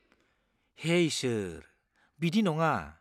हे इसोर, बिदि नङा!